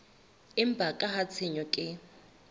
empa ka ha tshenyo ke